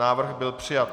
Návrh byl přijat.